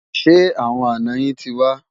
Ṣé àwọn àná yín tí wà?